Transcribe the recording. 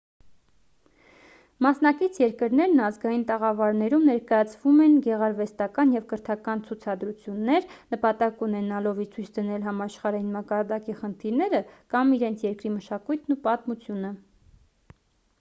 մասնակից երկրներն ազգային տաղավարներում ներկայացնում են գեղարվեստական և կրթական ցուցադրություններ նպատակ ունենալով ի ցույց դնել համաշխարհային մակարդակի խնդիրները կամ իրենց երկրի մշակույթն ու պատմությունը